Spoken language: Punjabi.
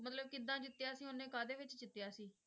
ਮਤਲਬ ਕਿੱਦਾਂ ਜਿੱਤਿਆ ਸੀ ਉਹਨੇ ਕਾਹਦੇ ਵਿੱਚ ਜਿੱਤਿਆ ਸੀ?